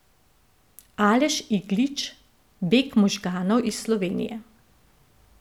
Aleš Iglič, Beg možganov iz Slovenije.